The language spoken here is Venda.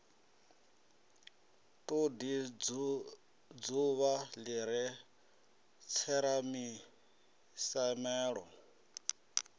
todi dzuvha li re tseramisiamelo